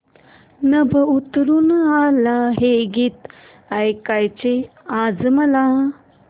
नभं उतरू आलं हे गीत ऐकायचंय आज मला